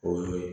O ye